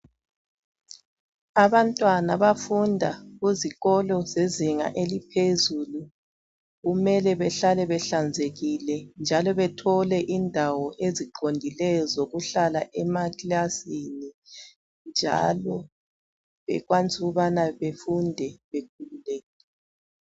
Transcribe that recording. Abantwana abafunda kuzinga eliphezulu kumele behlale behlanzekile njalo bethole indawo eziqondileyo zokuhlala emakilasini njalo bekwanise ukubana befunde bekhululekile.